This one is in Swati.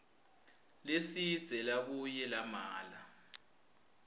lesidze labuye lamela